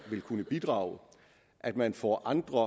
vil kunne bidrage at man får andre